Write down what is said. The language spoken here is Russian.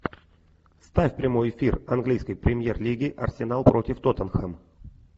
ставь прямой эфир английской премьер лиги арсенал против тоттенхэм